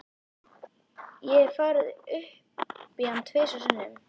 Ég hef farið upp í hann tvisvar sinnum.